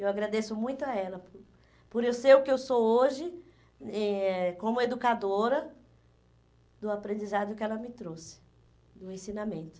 Eu agradeço muito a ela por por eu ser o que eu sou hoje, eh como educadora, do aprendizado que ela me trouxe, do ensinamento.